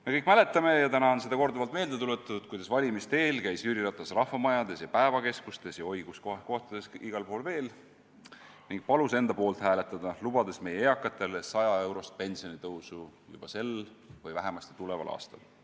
Me kõik mäletame – täna on seda korduvalt meelde tuletatud –, kuidas valimiste eel käis Jüri Ratas rahvamajades, päevakeskustes ja kus kohas igal pool veel ning palus enda poolt hääletada, lubades meie eakatele 100-eurost pensionitõusu juba sel või vähemasti tuleval aastal.